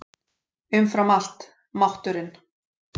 Umfram allt: mátturinn.